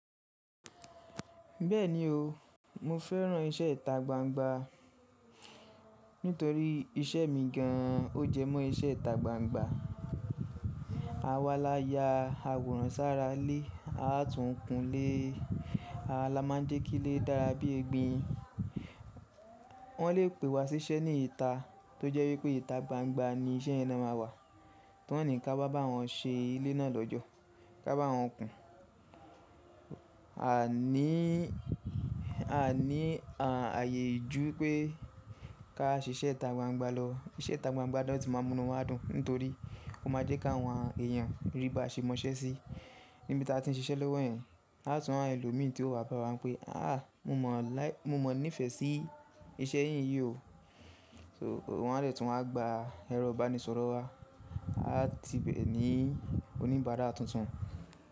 Bẹ́ẹ̀ni o, mo fẹ́ràn iṣẹ́ ìta gbangba nítorí iṣẹ́ mi gan an ó jẹ mọ́ iṣẹ́ ìta gbangba. Awà lá ya àwòrán sára ile, a tún kún ile, awa la ma jẹ́ kí ile dára bí egbin. Wọ́n lè pè wa síṣẹ́ ní ìta tó jẹ́ wípé ìta gbangba ni iṣẹ́ yẹ na máa wà tí wọ́n ní ká wa bá wọn ṣe ilé náà lọ́jọ́, ká bá wọn kùn. A ní ààyè jú pé ká ṣe iṣẹ́ ìta gbangba lọ, iṣẹ́ ìta gbangba náà ti máa mu inu wá dùn nítorí ó máa jẹ́ ki áwọn èèyàn rí ba ṣe mọṣẹ́ sí níbi tí a ti ń ṣe iṣẹ́ lẹ́wọ̀n yìí. A tún á ri àwọn ẹlòmi tí ó wá bá wa pé, "à mo mọ ní ìfẹ́ sí iṣẹ́ yìí yóò." Wọ́n á dẹ tun wa á gba ẹrọ ìbánisọ̀rọ̀ wa, wọn á ti bẹ̀ ní oníbara tuntun.